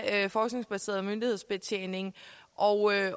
af forskningsbaseret myndighedsbetjening og